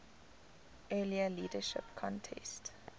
earlier leadership contest